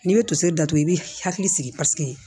N'i bɛ toseri datugu i b'i hakili sigi paseke